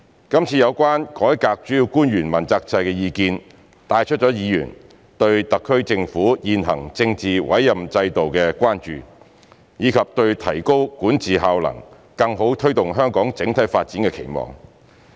今次有關"改革主要官員問責制"的意見，帶出了議員對特區政府現行政治委任制度的關注，以及對提高管治效能，更好推動香港整體發展的期望。